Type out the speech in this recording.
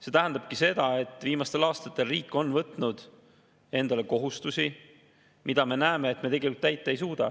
See tähendabki seda, et viimastel aastatel on riik võtnud endale kohustusi, mida me näeme, et me tegelikult täita ei suuda.